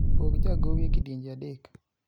pog jagowi e kidienje adek